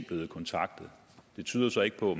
blevet kontaktet det tyder så ikke på